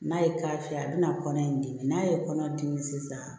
N'a ye k'a fiyɛ a bɛna kɔnɔ in dimi n'a ye kɔnɔdimi sisan